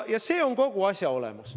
See on kogu asja olemus.